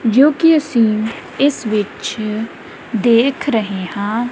ਜੋ ਕਿ ਅਸੀਂ ਇਸ ਵਿੱਚ ਦੇਖ ਰਹੇ ਹਾਂ।